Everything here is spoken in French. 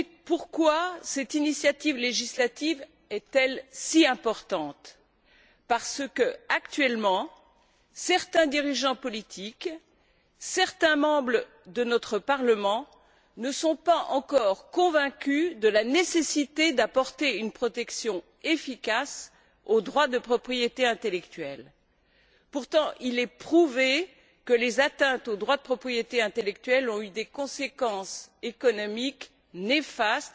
Pourquoi cette initiative législative est elle si importante? Parce que, actuellement, certains dirigeants politiques, certains membres de notre Parlement ne sont pas encore convaincus de la nécessité d'apporter une protection efficace aux droits de propriété intellectuelle. Pourtant, il est prouvé que les atteintes aux droits de propriété intellectuelle ont eu des conséquences économiques néfastes